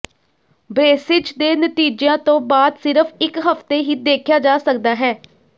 braces ਦੇ ਨਤੀਜਿਆਂ ਤੋਂ ਬਾਅਦ ਸਿਰਫ ਇਕ ਹਫਤੇ ਹੀ ਦੇਖਿਆ ਜਾ ਸਕਦਾ ਹੈ